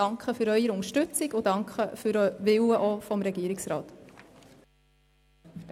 Ich danke für die Unterstützung und für den Willen des Regierungsrats.